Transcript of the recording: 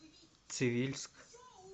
цивильск